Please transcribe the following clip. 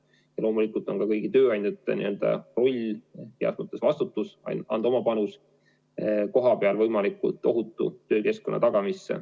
Ja loomulikult on ka kõigi tööandjate roll ja vastutus anda oma panus kohapeal võimalikult ohutu töökeskkonna tagamisse.